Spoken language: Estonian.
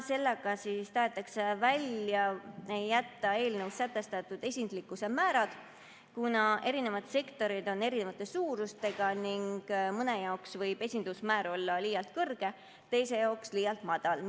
Sellega tahetakse välja jätta eelnõus sätestatud esinduslikkuse määrad, kuna erinevad sektorid on eri suurusega ning mõne jaoks võib esinduslikkuse määr olla liialt kõrge, teise jaoks liialt madal.